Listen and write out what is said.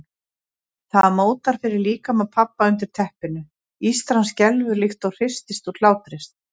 Það mótar fyrir líkama pabba undir teppinu, ístran skelfur líkt og hristist úr hlátri.